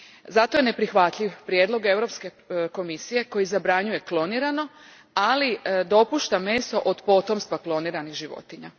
Zato je neprihvatljiv prijedlog Europske komisije koji zabranjuje klonirano, ali dopušta meso od potomstva kloniranih životinja.